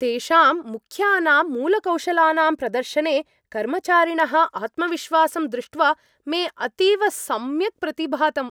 तेषां मुख्यानां मूलकौशलानां प्रदर्शने कर्मचारिणः आत्मविश्वासं दृष्ट्वा मे अतीव सम्यक् प्रतिभातम्।